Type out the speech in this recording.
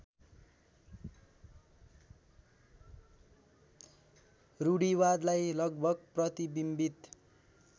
रूढीवादलाई लगभग प्रतिबिम्बित